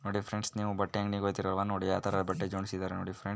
ನೋಡಿ ಫ್ರೆಂಡ್ಸ್ ನೀವು ಬಟ್ಟೆ ಅಂಗಡಿ ಹೋಯಿತಿರಲ್ವ ನೋಡಿ ಯಾವ ತರ ಬಟ್ಟೆ ಜೋಡ್ಸಿದಾರೆ ನೋಡಿ ಫ್ರೆಂಡ್ಸ್ .